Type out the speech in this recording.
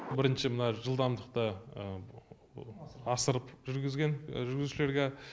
бірінші мына жылдамдықты асырып жүргізген жүргізушілерге